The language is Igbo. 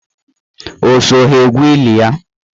O so ha na-egwu ili ya?